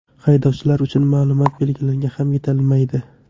Haydovchilar uchun ma’lumot belgilari ham yetishmaydi.